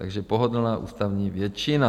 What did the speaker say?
Takže pohodlná ústavní většina.